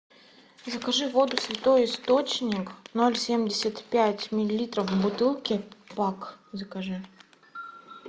закажи воду святой источник ноль семьдесят пять миллилитров в бутылке пак закажи